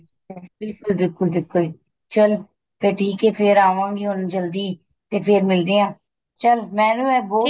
ਬਿਲਕੁਲ ਬਿਲਕੁਲ ਬਿਲਕੁਲ ਚੱਲ ਤੇ ਠੀਕ ਏ ਫੇਰ ਆਵਾਂ ਗੀ ਹੁਣ ਜਲਦੀ ਤੇ ਫੇਰ ਮਿਲਦੇ ਆ ਚੱਲ ਮੈਨੂੰ ਇਹ ਬਹੁਤ